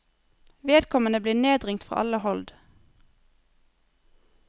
Vedkommende blir nedringt fra alle hold.